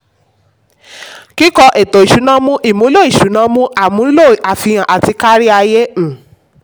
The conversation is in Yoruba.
kíkọ etò ìsúná mú ìmúlò ìsúná mú ìmúlò àfihàn àti kárí-ayé. um